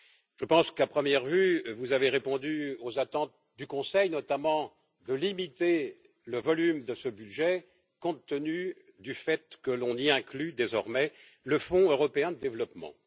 Je pense qu'à première vue, vous avez répondu aux attentes du Conseil, notamment de limiter le volume de ce budget, compte tenu du fait que l'on y inclut désormais le Fonds européen de développement.